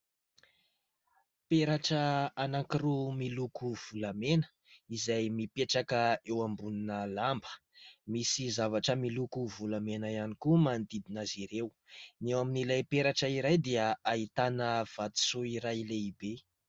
Peratra anankiroa miloko volamena izay mipetraka eo ambonina lamba, misy zavatra miloko volamena ihany koa manodidina azy ireo. Ny eo amin'ilay peratra iray dia ahitana vatosoa iray lehibe.